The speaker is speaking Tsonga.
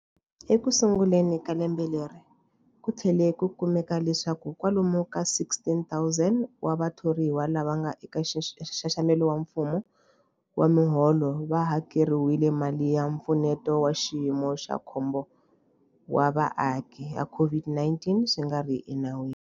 Ekusunguleni ka lembe leri, ku tlhele ku kumeka leswaku kwalomu ka 16,000 wa vathoriwa lava nga eka nxaxamelo wa mfumo wa miholo va hakeriwile mali ya Mpfuneto wa Xiyimo xa Khombo wa Vaaki ya COVID-19 swi nga ri enawini.